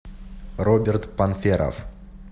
роберт панферов